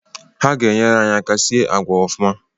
Ha ga-enyere anyị aka sie agwa ọfụma